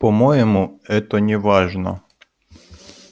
по-моему это неважно